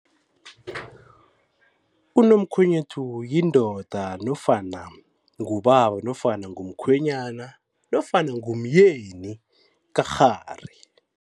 Unomkhwenyethu yindoda nofana ngubaba nofana ngumkhwenyana nofana ngumyeni kakghari.